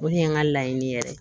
O de ye n ka laɲini yɛrɛ ye